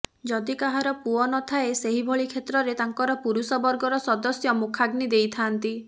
ଯଦି କାହାର ପୁଅ ନଥାଏ ସେହିଭଳି କ୍ଷେତ୍ରରେ ତାଙ୍କର ପୁରୁଷ ବର୍ଗର ସଦସ୍ୟ ମୁଖାଗ୍ନି ଦେଇଥାନ୍ତି